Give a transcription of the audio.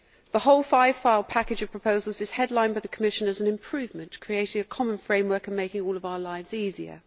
The whole five file package of proposals is headlined by the Commission as an improvement, creating a common framework and making all our lives easier.